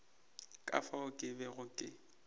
ka fao ke bego ke